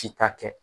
Si ta kɛ